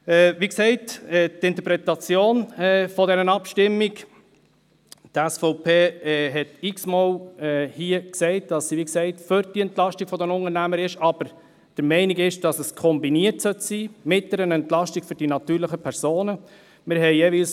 Wie gesagt, zur Interpretation dieser Abstimmung: Die SVP hat hier x-mal gesagt, sie sei für die Entlastung der Unternehmer, sei aber der Meinung, das sollte mit einer Entlastung für die natürlichen Personen kombiniert sein.